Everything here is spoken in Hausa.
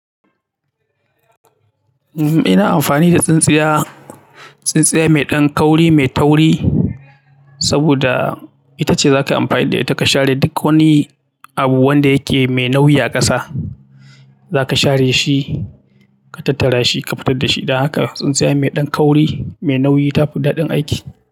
Ina amfani da tsintsiya, tsintsiya mai ɗan kauri, mai tauri saboda ita ce za ka amfani da ita ka share duk wani abu wanda yake mai nauyi a ƙasa. Za ka share shi, ka tattara shi, ka fitar da shi. Da haka tsintsiya mai ɗan kauri, mai nauyi ta fi daɗin aiki.